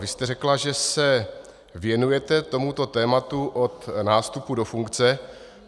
Vy jste řekla, že se věnujete tomuto tématu od nástupu do funkce.